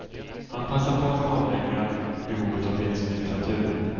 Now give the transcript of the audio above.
Han passade på att kartlägga behovet av finsk litteratur.